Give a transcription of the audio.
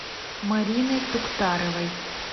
марины туктаровой